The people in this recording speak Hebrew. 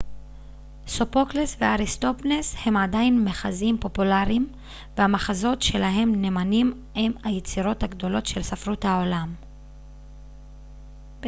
סופוקלס ואריסטופנס הם עדיין מחזאים פופולריים והמחזות שלהם נמנים עם היצירות הגדולות של ספרות העולם